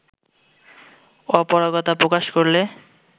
অপারগতা প্রকাশ করলে